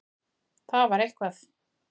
Það var eitthvað.